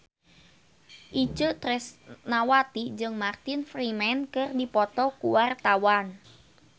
Itje Tresnawati jeung Martin Freeman keur dipoto ku wartawan